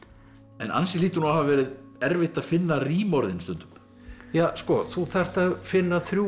en ansi hlýtur nú að hafa verið erfitt að finna rímorðin stundum ja sko þú þarft að finna þrjú